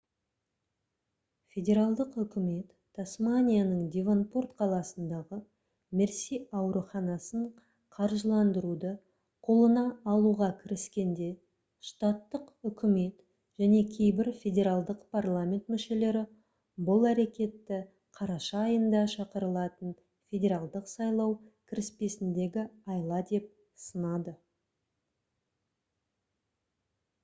федералдық үкімет тасманияның девонпорт қаласындағы мерси ауруханасын қаржыландыруды қолына алуға кіріскенде штаттық үкімет және кейбір федералдық парламент мүшелері бұл әрекетті қараша айында шақырылатын федералдық сайлау кіріспесіндегі айла деп сынады